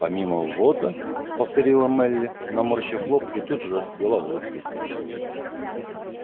помимо ввоза повторила мелли наморщив лоб и тут же расцвела улыбкой